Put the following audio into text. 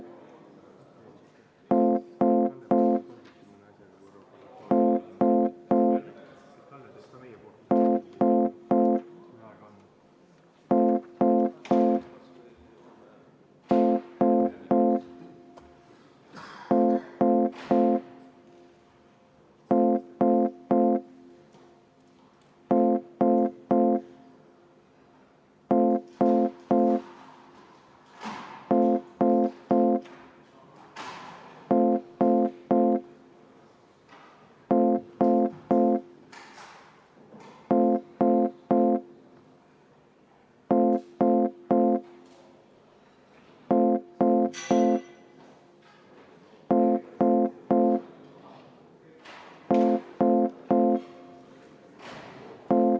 Siis läheme kolmanda muudatusettepaneku juurde ja see on jälle samasugune tark ettepanek maaelukomisjonilt ja juhtivkomisjonina on komisjon seda ka täielikult arvestanud.